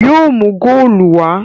Yóò mú góòlù wá!